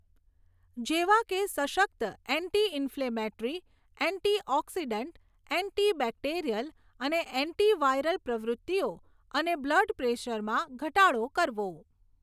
જેવા કે સશક્ત anti inflammatory, anti oxidant, anti bacterial અને એન્ટિવાયરલ પ્રવૃત્તિઓ અને બ્લડ પ્રેસરમાં ઘટાડો કરવો.